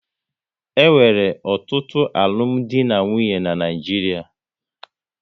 E nwere ọtụtụ alụmdi na nwunye n'Naijiria